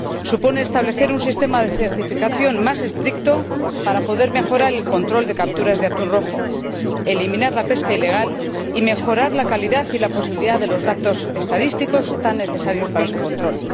Supone establecer un sistema de certificación más estricto para poder mejorar el control de capturas de atún rojo, eliminar la pesca ilegal y mejorar la calidad y la posibilidad de los datos estadísticos, tan necesarios para su control.